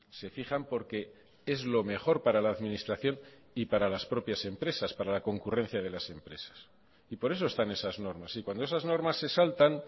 se fijan porque es lo mejor para la administración y para las propias empresas para la concurrencia de las empresas y por eso están esas normas y cuando esas normas se saltan